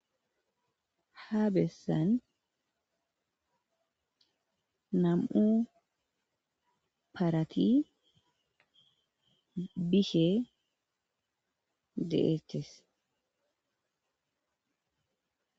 Ha bessan nam7u parathi bishee de7eeththes.